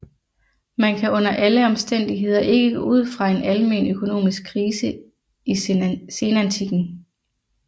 Man kan under alle omstændigheder ikke gå ud fra en almen økonomisk krise i senantikken